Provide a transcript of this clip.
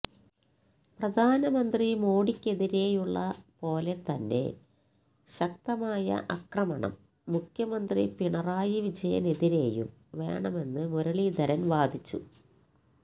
പ്രധാനമന്ത്രി മോഡിക്കെതിരേയുള്ള പോലെതന്നെ ശക്തമായ അക്രമണം മുഖ്യമന്ത്രി പിണറായി വിജയനെതിരെയും വേണമെന്ന് മുരളീധന് വാദിച്ചു